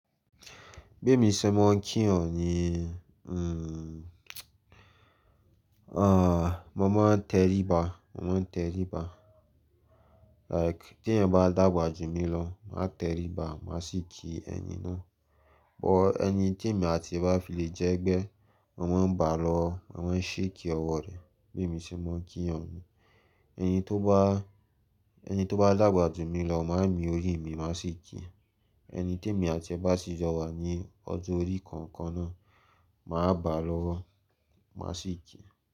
Bí èmi ṣe mọ kí èèyàn nii, hmm, aah, mo máa ń tẹríba, mo máa ń tẹríba. Like tí èèyàn bá dàgbà jù mí lọ máa tẹríba, màá sì kí ẹni náà. But ẹni tí èmi àti ẹ bá fi lè jẹ́ ẹgbẹ́, mo máa bà á lọ́wọ́, mo máa ń shake ọwọ́ ni. Bí èmi ṣe mọ kí èèyàn nu. Ẹni tó bá, ẹni tó bá dàgbà jù mí lọ máa ń mi orí mi, màá sì kí i. Ẹni tí èmi àti ẹ bá sì jọ wà ní ọjọ́ orí kankan náà, màá bàa lọ́wọ́, màá sì kí i.